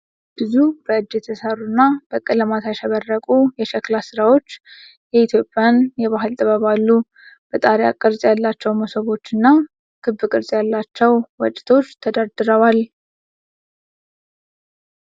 ብዙ በእጅ የተሰሩ እና በቀለማት ያሸበረቁ የሸክላ ሥራዎች የኢትዮጵያን የባህል ጥበብ አሉ። የጣሪያ ቅርጽ ያላቸው መሶቦዎች እና ክብ ቅርጽ ያላቸው ወጭቶች ተደርድረዋል።